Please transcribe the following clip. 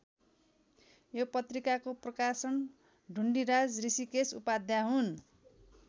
यो पत्रिकाको प्रकाशक ढुण्डिराज ऋषिकेश उपाध्याय हुन्।